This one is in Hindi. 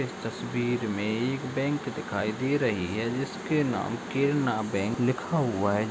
इस तस्वीर मे एक बैंक दिखाई दे रही है जिसके नाम के केरना बैंक लिखा है।